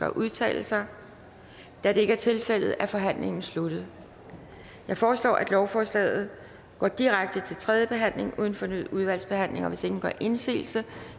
at udtale sig da det ikke er tilfældet er forhandlingen sluttet jeg foreslår at lovforslaget går direkte til tredje behandling uden fornyet udvalgsbehandling og hvis ingen gør indsigelse